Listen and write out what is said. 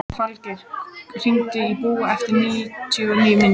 Falgeir, hringdu í Búa eftir níutíu mínútur.